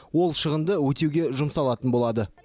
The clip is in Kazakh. ол шығынды өтеуге жұмсалатын болады